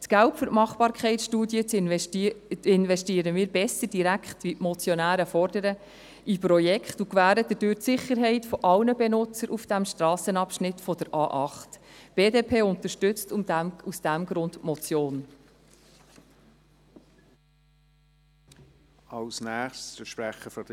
Das Geld für die Machbarkeitsstudie investieren wir besser direkt in die Projekte und gewährleisten dadurch die Sicherheit aller Benutzer auf diesem Strassenabschnitt der A8, wie es die Motionäre fordern.